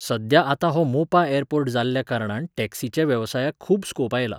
सध्या आतां हो मोपा ऍरपोर्ट जाल्ल्या कारणान टॅक्सीच्या वेवसायाक खूब स्कोप आयला.